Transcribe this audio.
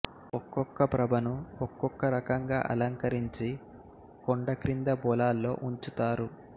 ఒక్కొక్క ప్రభను ఒక్కొక్క రకంగా అలంకరించి కొండక్రింద పొలాల్లో ఉంచుతారు